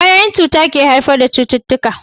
Kwayoyin cuta ne ke haifar da cututtuka